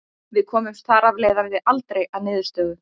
Við komumst þar af leiðandi aldrei að niðurstöðu.